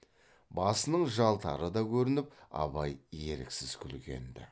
басының жалтары да көрініп абай еріксіз күлген ді